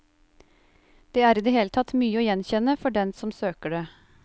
Det er i det hele tatt mye å gjenkjenne for den som søker det.